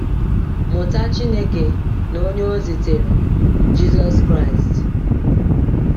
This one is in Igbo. Mụta Chineke na Onye o zitere, Jizọs Kraịst.